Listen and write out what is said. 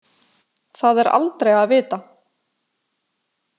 Það er aldrei að vita.